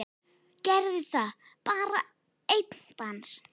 Gerðu það, bara einn dans.